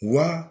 Wa